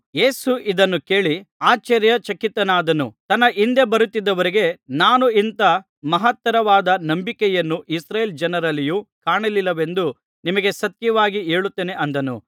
ಯೇಸು ಇದನ್ನು ಕೇಳಿ ಆಶ್ಚರ್ಯಚಕಿತನಾದನು ತನ್ನ ಹಿಂದೆ ಬರುತ್ತಿದ್ದವರಿಗೆ ನಾನು ಇಂಥಾ ಮಹತ್ತರವಾದ ನಂಬಿಕೆಯನ್ನು ಇಸ್ರಾಯೇಲ್ ಜನರಲ್ಲಿಯೂ ಕಾಣಲಿಲ್ಲವೆಂದು ನಿಮಗೆ ಸತ್ಯವಾಗಿ ಹೇಳುತ್ತೇನೆ ಅಂದನು